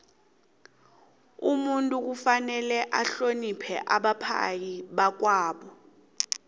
umuntu kufanele ahloniphe abaphai bakwabo